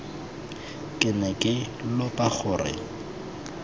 ke ne ke lopa gore